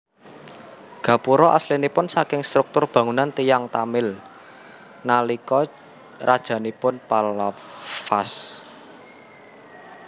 Gapura aslinipun saking struktur bangunan tiyang Tamil nalika rajanipun Pallavas